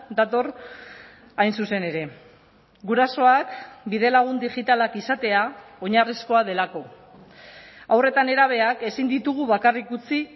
dator hain zuzen ere gurasoak bidelagun digitalak izatea oinarrizkoa delako haur eta nerabeak ezin ditugu bakarrik utzi